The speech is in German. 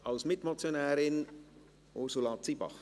Als Mitmotionärin, Ursula Zybach.